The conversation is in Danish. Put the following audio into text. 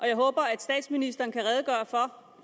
jeg håber at statsministeren kan redegøre for